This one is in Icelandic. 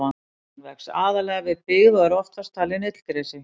Hann vex aðallega við byggð og er oftast talinn illgresi.